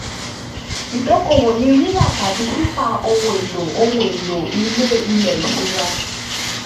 ìdókòwò ni rírà tàbí títà ohun èlò ohun èlò ilé ilẹ̀ ìṣura.